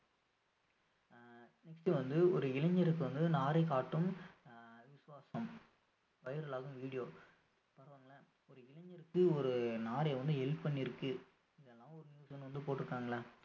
ஆஹ் next வந்து ஒரு இளைஞருக்கு வந்து நாரை காட்டும் ஆஹ் விசுவாசம் viral ஆகும் video ஒரு இளைஞருக்கு நாரை வந்து help பண்ணியிருக்கு இதுலா ஒரு news ன்னு வந்து போட்ருக்காங்கல்ல